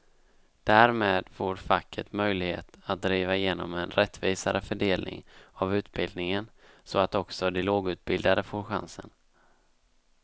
Därmed får facket möjlighet att driva igenom en rättvisare fördelning av utbildningen så att också de lågutbildade får chansen.